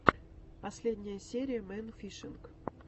последняя серия мэн фишинг